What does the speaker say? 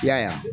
I y'a ye